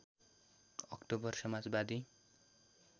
October Samajwadi